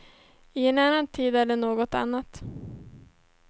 I en annan tid är det något annat.